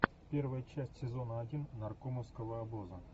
первая часть сезона один наркомовского обоза